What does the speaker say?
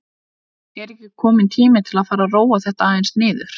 Er ekki kominn tími til að fara að róa þetta aðeins niður?